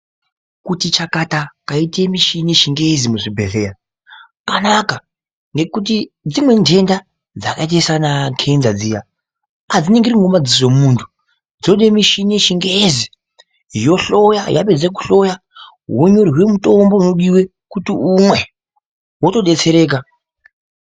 Kuti chakata kwaite mishini yechingezi muzvibhedhleya kwanaka. Ngokuti dzimweni nthenda dzakaita sanakenza dziya adziningirwi ngemadziso emunthu dzoda mishini yechingezi yohloya, yapedze kuhloya wonyorerwa mutombo unodiwa kuti umwe wotodetsereka.